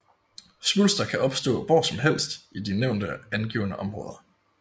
Svulster kan opstå hvor som helst i de nævnte angivne områder